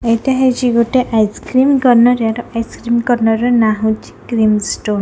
ଏଟା ହେଇଚି ଗୋଟେ ଆଇସକ୍ରିମ କର୍ନର୍ ଏଟା ଆଇସିକ୍ରିମ କର୍ନର ର ନା ହଉଚି କ୍ରିମ୍ ଷ୍ଟନ ।